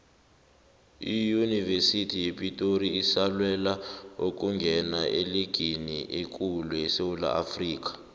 iyunivesithi yepitori isalwela ukungena eligini ekulu esewula afrikha